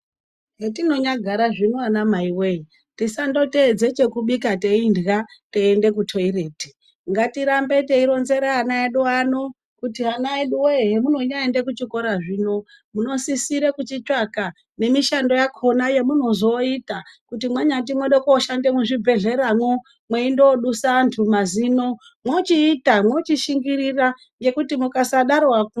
Hetinonyagara zvino anamaiwoye tisandoteedze chekubika teidya teiende kutoireti ngatirambe teironzera ana edu ano kuti ana edu woye hemunonyaenda kuchiikora zvino munosisire kuchitsvaka nemishando yakona yemunozoita kuti mwanyati mwode koshande muzvibhehleyamwo mweindo dusa anhu mazino mwochiita mwochishingirira ngekuti mukasadaro zvafa.